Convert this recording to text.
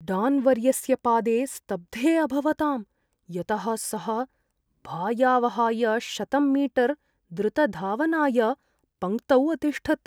डान्वर्यस्य पादे स्तब्धे अभवताम्, यतः सः भायावहाय शतं मीटर् द्रुतधावनाय पङ्क्तौ अतिष्ठत्।